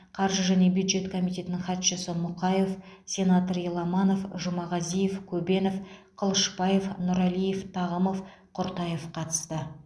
қаржы және бюджет комитетінің хатшысы мұқаев сенатор еламанов жұмағазиев көбенов қылышбаев нұралиев тағымов құртаев қатысты